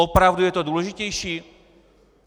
Opravdu je to důležitější?